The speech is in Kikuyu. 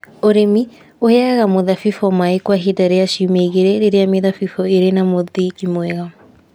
Ũrĩmi - ũheaga mũthabibũ maaĩ kwa ihinda rĩa ciumia igĩrĩ rĩrĩa mĩthabibũ ĩrĩ na mũthingi mwega.